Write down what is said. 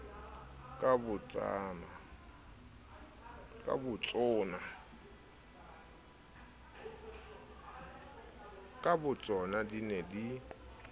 ka botsona di ne di